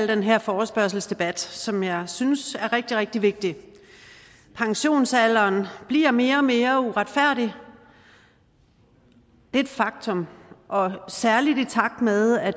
den her forespørgselsdebat som jeg synes er rigtig rigtig vigtig pensionsalderen bliver mere og mere uretfærdig det er et faktum og særlig i takt med at